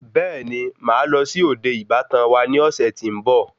Bẹẹni, Máà lọ sí òde ìbátan wa ni ọ̀sẹ̀ tí nbọ